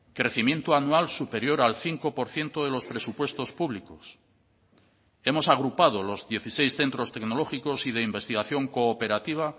crecimiento anual superior al cinco por ciento de los presupuestos públicos hemos agrupado los dieciséis centros tecnológicos y de investigación cooperativa